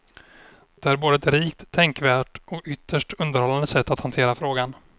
Det är både ett rikt, tänkvärt och ytterst underhållande sätt att hantera frågan.